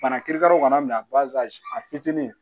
Bana kirikaraw kana minɛ a fitinin